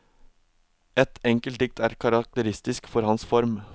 Et enkelt dikt er karakteristisk for hans form.